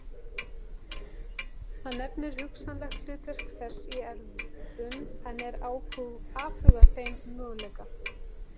Hann nefnir hugsanlegt hlutverk þess í erfðum en er afhuga þeim möguleika.